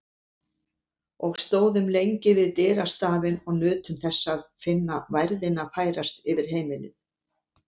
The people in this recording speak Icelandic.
Og stóðum lengi við dyrastafinn og nutum þess að finna værðina færast yfir heimilið.